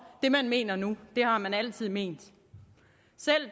det man mener nu har man altid ment selv